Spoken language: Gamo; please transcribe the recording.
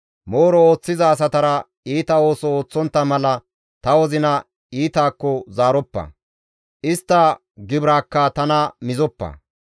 Mooro ooththiza asatara iita ooso ooththontta mala ta wozina iitakko zaaroppa; istta gibiraakka tana mizoppa.